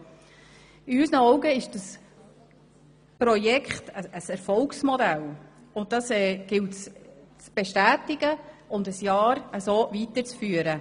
In unseren Augen ist dieses Projekt ein Erfolgsmodell, und dieses gilt es zu bestätigen und ein Jahr weiterzuführen.